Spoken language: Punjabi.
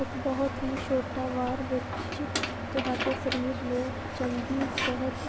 ਇੱਕ ਬਹੁਤ ਹੀ ਛੋਟਾ ਵਾਰ ਵਿੱਚ ਤੁਹਾਡੇ ਸਰੀਰ ਨੂੰ ਚੰਗੀ ਸਿਹਤ